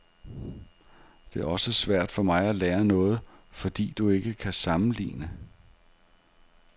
Det er også svært for mig at lære noget, fordi du ikke kan sammenligne.